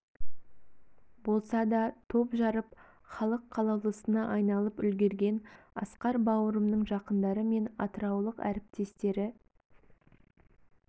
болса да топ жарып халық қалаулысына айналып үлгерген асқар бауырымның жақындары мен атыраулық әріптестері